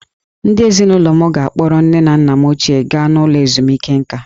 Ndị ezinụlọ m ga-akpọrọ nne na nna m ochie gaa n'ụlọ ezumike nkà.